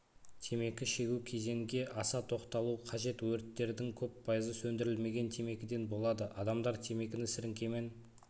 темекі шегу кезенге аса тоқталу қажет өрттердің көп пайызы сөндірілмеген темекіден болады адамдар темекіні сіріңкемен